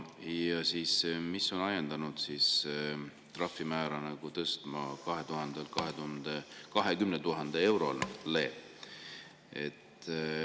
Ja mis on ajendanud trahvimäära tõstma 2000 euro pealt 20 000 eurole?